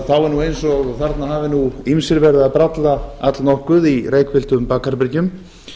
þá er eins og þarna hafi ýmsir verið að brallað allnokkuð í reykfylltum bakherbergjum